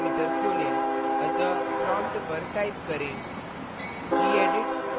अब text editor खोलें अतः prompt पर type करें